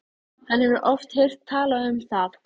Hann hefur oft heyrt talað um það.